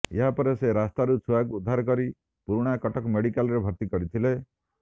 ଏହାପରେ ସେ ରାସ୍ତାରୁ ଛୁଆକୁ ଉଦ୍ଧାର କରି ପୁରୁଣାକଟକ ମେଡ଼ିକାଲରେ ଭର୍ତ୍ତି କରିଥିଲେ